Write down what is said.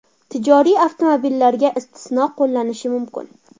Tijoriy avtomobillarga istisno qo‘llanilishi mumkin.